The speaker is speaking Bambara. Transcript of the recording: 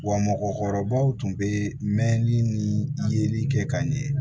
Wa mɔgɔkɔrɔbaw tun bɛ mɛnli ni yeli kɛ ka ɲɛ